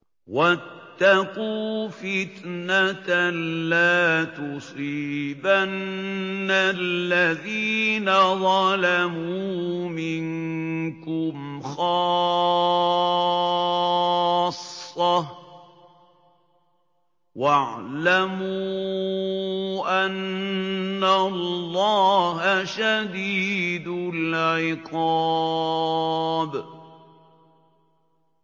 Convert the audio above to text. وَاتَّقُوا فِتْنَةً لَّا تُصِيبَنَّ الَّذِينَ ظَلَمُوا مِنكُمْ خَاصَّةً ۖ وَاعْلَمُوا أَنَّ اللَّهَ شَدِيدُ الْعِقَابِ